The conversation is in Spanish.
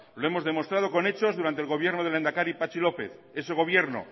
lo hemos demostrado con hechos durante el gobierno del lehendakari patxi lópez ese gobierno